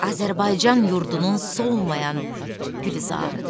Azərbaycan yurdunun solmayan Gülzarıdır.